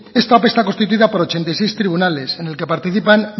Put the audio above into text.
esta ope está constituida por ochenta y seis tribunales en el que participan